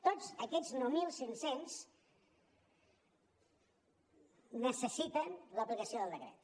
tots aquests nou mil cinc cents necessiten l’aplicació del decret